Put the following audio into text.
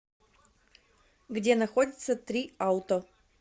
где находится три ауто